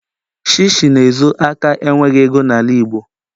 Shishi na-ezo aka enweghị ego na igbo..